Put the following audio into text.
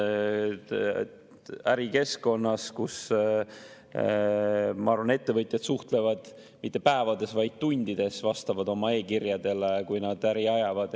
Ärikeskkonnas, ma arvan, ettevõtjad suhtlevad mitte päevades, vaid tundides, vastavad oma e‑kirjadele, kui nad äri ajavad.